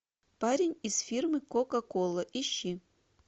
парень из фирмы кока кола ищи